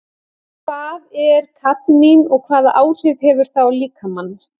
Hvað er kadmín og hvaða áhrif hefur það á líkamann?